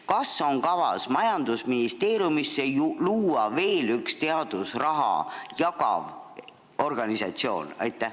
Kas on kavas majandusministeeriumisse luua veel üks teadusraha jagav organisatsioon?